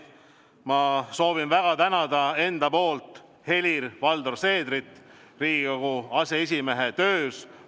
Ma soovin väga tänada Helir-Valdor Seederit Riigikogu aseesimehe töö eest.